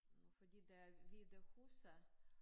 Fordi der er hvide huse